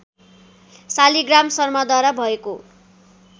शालिग्राम शर्माद्वारा भएको